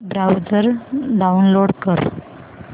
browser download कर